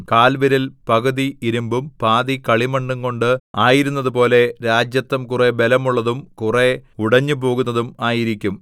കാൽവിരൽ പകുതി ഇരിമ്പും പാതി കളിമണ്ണുംകൊണ്ട് ആയിരുന്നതുപോലെ രാജത്വം കുറെ ബലമുള്ളതും കുറെ ഉടഞ്ഞുപോകുന്നതും ആയിരിക്കും